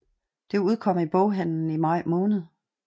Det udkom i boghandelen i maj måned